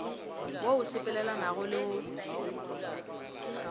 wo o sepelelanagole wo o